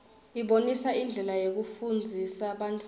ibonisa indlela yekufundzisa bantfwana